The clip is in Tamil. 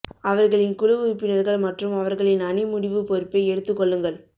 அவர்களின் குழு உறுப்பினர்கள் மற்றும் அவர்களின் அணி முடிவு பொறுப்பை எடுத்து கொள்ளுங்கள்